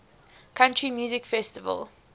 country music festival